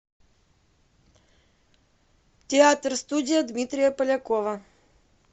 театр студия дмитрия полякова